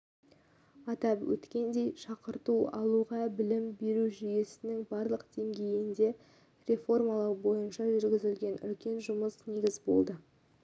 атап өткендей шақырту алуға білім беру жүйесінің барлық деңгейін реформалау бойынша жүргізілген үлкен жұмыс негіз болды